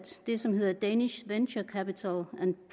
det som hedder danish venture capital